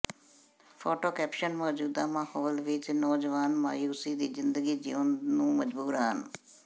photo caption ਮੌਜੂਦਾ ਮਾਹੌਲ ਵਿੱਚ ਨੌਜਵਾਨ ਮਾਯੂਸੀ ਦੀ ਜ਼ਿੰਦਗੀ ਜਿਉਣ ਨੂੰ ਮਜਬੂਰ ਹਨ